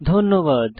ধন্যবাদ